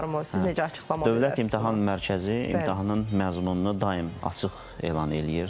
Siz necə açıqlama verə Dövlət İmtahan Mərkəzi imtahanın məzmununu daim açıq elan eləyir.